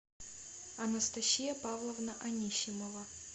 анастасия павловна анисимова